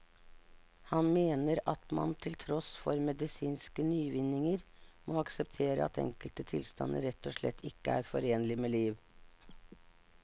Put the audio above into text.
Han mener at man til tross for medisinske nyvinninger må akseptere at enkelte tilstander rett og slett ikke er forenlig med liv.